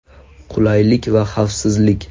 Qulaylik va xavfsizlik.